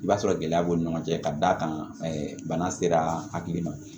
I b'a sɔrɔ gɛlɛya b'u ni ɲɔgɔn cɛ ka d'a kan ɛɛ bana sera hakili ma